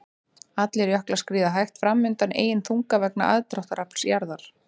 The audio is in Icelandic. Allir jöklar skríða hægt fram undan eigin þunga vegna aðdráttarafls jarðar.